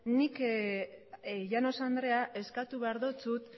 nik llanos andrea eskatu behar dizut